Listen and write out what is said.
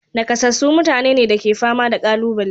Nakasassu mutane ne da ke fama da ƙalubale.